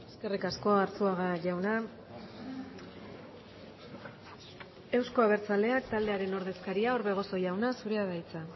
eskerrik asko arzuaga jauna euzko abertzaleak taldearen ordezkaria orbegozo jauna zurea da hitza